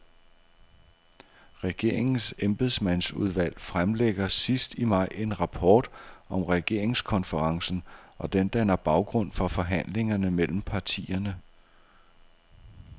Regeringens embedsmandsudvalg fremlægger sidst i maj en rapport om regeringskonferencen, og den danner baggrund for forhandlingerne mellem partierne.